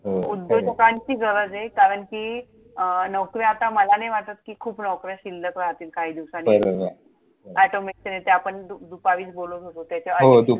हो हो! खरंय. उद्योजकांची गरजय, कारण कि अं नोकऱ्या आता मला नाही वाटत कि खूप नोकऱ्या शिल्लक राहतील काही दिवसांनी, बरोबर! Automatically त्या आपण दुपारीच बोलत होतो त्याच्यावर. हो दुप